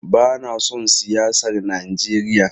Bana son siyasar Najeriya.